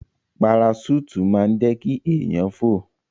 Paraṣúùtì máa ń jẹ́ kí èèyàn fò